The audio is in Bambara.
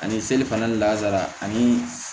Ani seli fana ni lasara ani